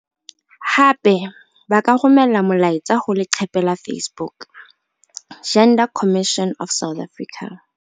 Hape ba ka romela molaetsa ho leqephe la Facebook- Gender Commission of South Africa.